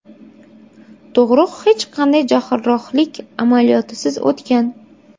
Tug‘ruq hech qanday jarrohlik amaliyotisiz o‘tgan.